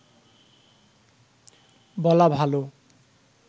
বলা ভালো